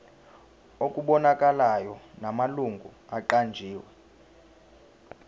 okubonakalayo namalungu aqanjiwe